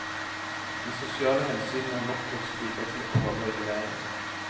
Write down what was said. De sosiale hensynene har nok også bidratt til å beholde reguleringen.